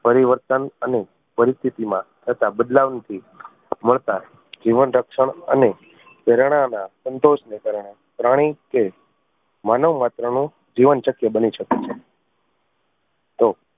પરિવર્તન અને પરિસ્થિતિ માં તથા બદલાવ થી મળતા જીવન રક્ષણ અને સંતોષ ને કારણે પ્રાણી કે માનવ માત્ર નું જીવન શક્ય બની શકે છે તો